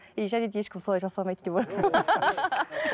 и және де ешкім солай жасамайды деп